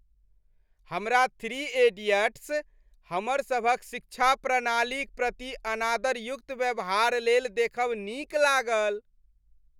हमरा "three idiots" हमरसभक शिक्षा प्रणालीक प्रति अनादरयुक्त व्यवहार लेल देखब नीक लागल।